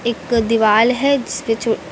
एक दीवाल है जिसपे चो--